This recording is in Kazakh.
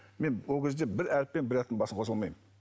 мен ол кезде бір әріп пен бір әріптің басын қоса алмаймын